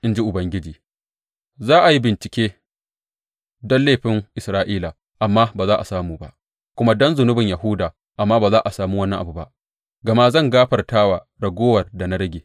in ji Ubangiji, za a yi bincike don laifin Isra’ila, amma ba za a samu ba, kuma don zunubin Yahuda, amma ba za a sami wani abu ba, gama zan gafarta wa raguwar da na rage.